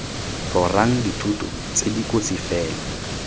rorang dithoto tse dikotsi fela